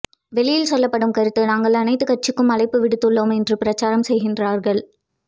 வெளியில் சொல்லப்படும் கருத்து நாங்கள் அனைத்துக் கட்சிக்கும் அழைப்பு விடுத்துள்ளோம் என்று பிரச்சாரம் செய்கின்றார்கள்